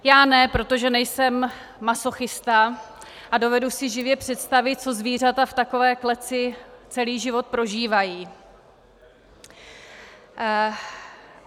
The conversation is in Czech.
Já ne, protože nejsem masochista a dovedu si živě představit, co zvířata v takové kleci celý život prožívají.